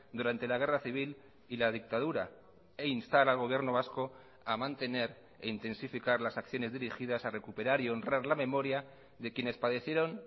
durante la guerra civil y la dictadura e instar al gobierno vasco a mantener e intensificar las acciones dirigidas a recuperar y honrar la memoria de quienes padecieron